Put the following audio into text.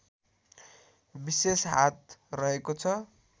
विशेष हात रहेको छ